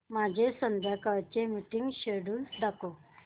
माझे संध्याकाळ चे मीटिंग श्येड्यूल दाखव